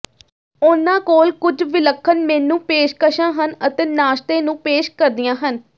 ਉਨ੍ਹਾਂ ਕੋਲ ਕੁਝ ਵਿਲੱਖਣ ਮੇਨੂ ਪੇਸ਼ਕਸ਼ਾਂ ਹਨ ਅਤੇ ਨਾਸ਼ਤੇ ਨੂੰ ਪੇਸ਼ ਕਰਦੀਆਂ ਹਨ